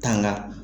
Tanga